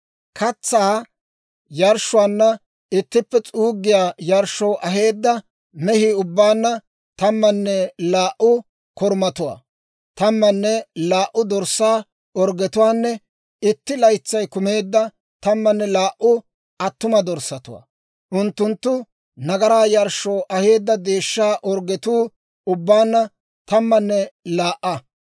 Katsaa yarshshuwaanna ittippe s'uuggiyaa yarshshoo aheedda mehii ubbaanna tammanne laa"u korumatuwaa, tammanne laa"u dorssaa orggetuwaanne itti laytsay kumeedda tammanne laa"u attuma dorssatuwaa. Unttunttu nagaraa yarshshoo aheedda deeshshaa orggetuu ubbaanna tammanne laa"a.